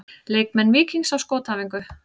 Leikmenn Víkings á skotæfingu.